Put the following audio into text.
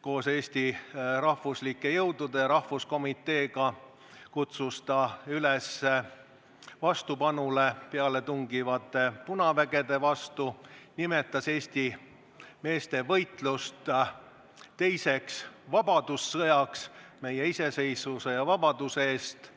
koos Eesti rahvuslike jõudude ja rahvuskomiteega kutsus ta üles osutama vastupanu pealetungivate punavägede vastu, ta nimetas Eesti meeste võitlust teiseks vabadussõjaks, võitluseks meie iseseisvuse ja vabaduse eest.